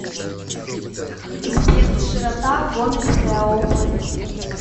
сбер широта гомельская область